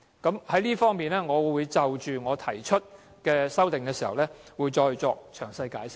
在這方面，我在動議修正案時，會再作詳細解釋。